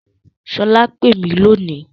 Sola pè mí lónìí